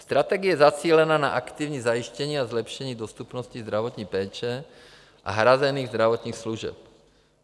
Strategie zacílená na aktivní zajištění a zlepšení dostupnosti zdravotní péče a hrazených zdravotních služeb.